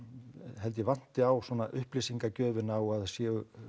held ég vanti á svona upplýsingagjöfina og að það séu